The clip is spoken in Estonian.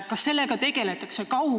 Kas sellega tegeletakse?